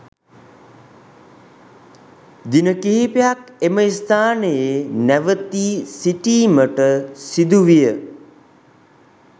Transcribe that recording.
දින කිහිපයක් එම ස්ථානයේ නැවතී සිටීමට සිදුවිය